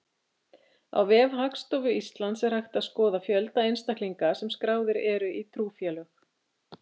Á vef Hagstofu Íslands er hægt að skoða fjölda einstaklinga sem skráðir eru í trúfélög.